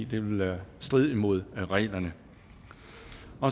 det vil stride imod reglerne